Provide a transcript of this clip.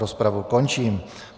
Rozpravu končím.